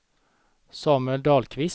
Samuel Dahlqvist